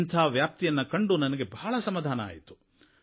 ಇದರ ವ್ಯಾಪ್ತಿಯನ್ನು ಕಂಡು ನನಗೆ ಬಹಳ ಸಮಾಧಾನವಾಯ್ತು